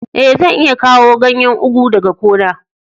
Eh, zan iya kawo ganyen ugu daga gona.